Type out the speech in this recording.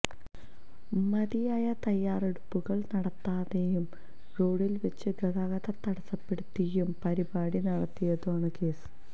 മതിയായ തയ്യാറെടുപ്പുകള് നടത്താതെയും റോഡില് വെച്ച് ഗതാഗതം തടസ്സപ്പെടുത്തിയും പരിപാടി നടത്തിയതിനാണ് കേസ്